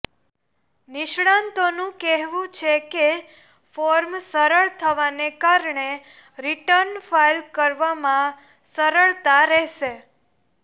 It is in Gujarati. નિષ્ણાતોનું કહેવું છે કે ફોર્મ સરળ થવાને કારણે રિટર્ન ફાઈલ કરવામાં સરળતા રહેશે